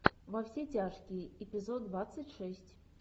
во все тяжкие эпизод двадцать шесть